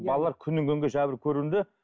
балаллар күннен күнге жәбір көруде